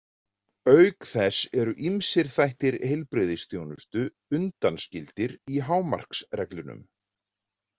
Auk þess eru ýmsir þættir heilbrigðisþjónustu undanskildir í hámarksreglunum.